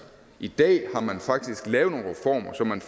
i dag har man faktisk lavet nogle reformer så man